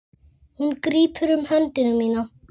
Hún grípur um hönd mína.